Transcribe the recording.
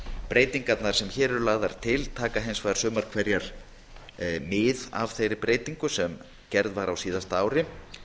breytingarnar sem hér eru lagðar til taka hins vegar sumar hverjar mið af þeirri breytingu sem gerð var á síðasta ári